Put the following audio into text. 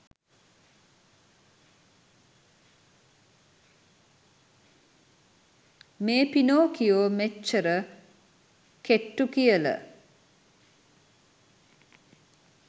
මේ පිනොකියෝ මෙච්චර කෙට්ටු කියල